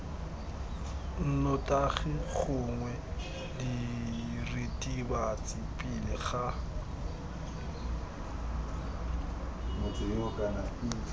nnotagi gongwe diritibatsi pele ga